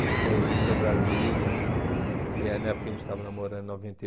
e eh ir para Brasília, e eh na época que a gente estava namorando, em noventa